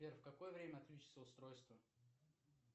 сбер в какое время отключится устройство